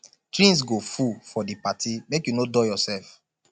drinks go full for di party make you no dull yoursef